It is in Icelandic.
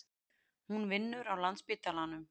Hún vinnur á Landspítalanum.